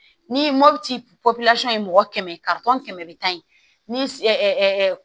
Ni mɔputi pɔpusu ye mɔgɔ kɛmɛ karitɔn kɛmɛ bi tan ye